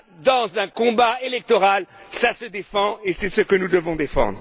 Dans un combat électoral, cela se défend et c'est ce que nous devons défendre.